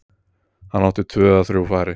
Hann átti tvö eða þrjú færi.